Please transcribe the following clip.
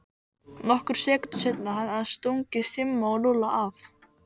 Nokkrum sekúndum seinna hafði hann stungið Simma og Lúlla af.